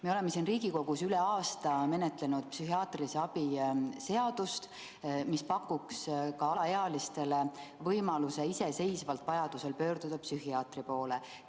Me oleme siin Riigikogus üle aasta menetlenud psühhiaatrilise abi seadust, mis pakuks ka alaealistele võimaluse vajaduse korral iseseisvalt psühhiaatri poole pöörduda.